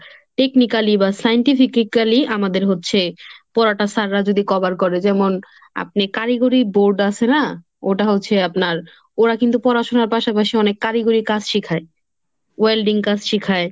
technically বা scientifically আমাদের হচ্ছে পড়াটা স্যাররা যদি cover করে যেমন আপনি কারিগরি board আছে না ওটা হচ্ছে আপনার ওরা কিন্তু পড়াশোনার পাশাপাশি অনেক কারিগরির কাজ শিখায়। welding কাজ শিখায়।